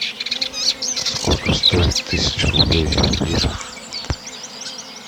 сколько стоит тысяча рублей в лирах